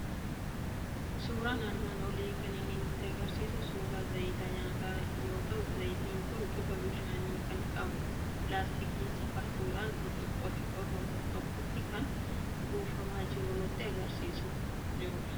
Suuraan armaan olii kan inni nutti argisiisu suuraa zayita nyaataa yoo ta'u, zayitiin kun bifa bishaanii kan qabu, laastikii safartuudhaan burcuqoo xiqqoo tokkotti kan buufamaa jiru nutti argisiisaa kan jirudha.